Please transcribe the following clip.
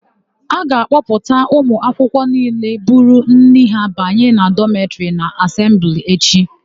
A ga-akpọpụta ụmụakwụkwọ niile buru nri ha banye dọmetịrị na asembli echi.